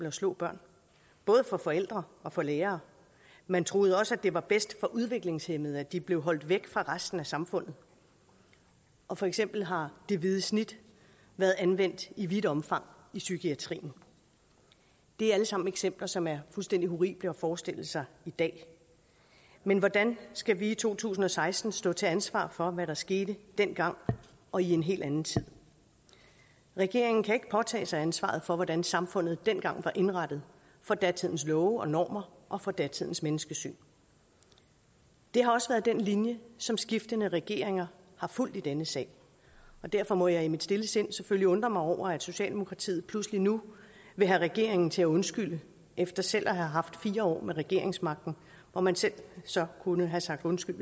at slå børn både for forældre og for lærere man troede også det var bedst for udviklingshæmmede at de blev holdt væk fra resten af samfundet og for eksempel har det hvide snit været anvendt i vidt omfang i psykiatrien det er alle sammen eksempler som er fuldstændig horrible at forestille sig i dag men hvordan skal vi i to tusind og seksten stå til ansvar for hvad der skete dengang og i en helt anden tid regeringen kan ikke påtage sig ansvaret for hvordan samfundet dengang var indrettet for datidens love og normer og for datidens menneskesyn det har også været den linje som skiftende regeringer har fulgt i denne sag og derfor må jeg i mit stille sind selvfølgelig undre mig over at socialdemokratiet pludselig nu vil have regeringen til at undskylde efter selv at have haft fire år med regeringsmagten hvor man selv kunne have sagt undskyld